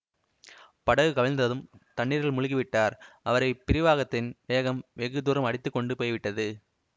படகு கவிழ்ந்ததும் தண்ணீரில் முழுகி விட்டார் அவரை பிரவாகத்தின் வேகம் வெகு தூரம் அடித்து கொண்டு போய் விட்டது